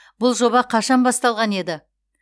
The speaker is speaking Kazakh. бұл жоба қашан басталған еді